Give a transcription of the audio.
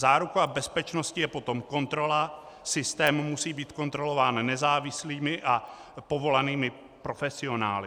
Záruka bezpečnosti je potom kontrola, systém musí být kontrolován nezávislými a povolanými profesionály.